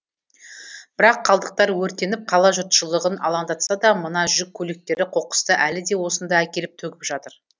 бірақ қалдықтар өртеніп қала жұртшылығын алаңдатса да мына жүк көліктері қоқысты әлі де осында әкеліп төгіп жатыр